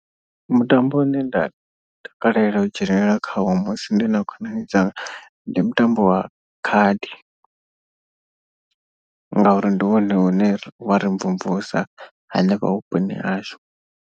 Mutambo une nda takalela u dzhenelela khawo musi ndi na khonani dzanga ndi mutambo wa khadi. Ngauri ndi wone une wa ri mvumvusa hanefha vhuponi hashu.